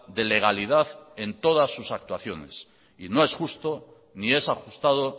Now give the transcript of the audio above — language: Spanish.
de legalidad en todas sus actuaciones y no es justo ni es ajustado